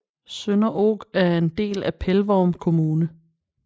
Sønderog er en del af Pelvorm kommune